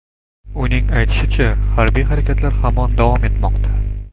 Uning aytishicha, harbiy harakatlar hamon davom etmoqda.